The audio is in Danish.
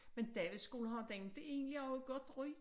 Men Davidsskolen har den egentlig ikke også et godt ry